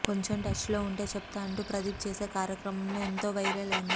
కొంచెం టచ్లో ఉంటే చెప్తా అంటూ ప్రదీప్ చేసే కార్యక్రమంలో ఎంతో వైరల్ అయింది